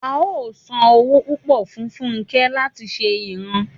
a ó san owó púpọ̀ fun fúnke láti ṣe ìran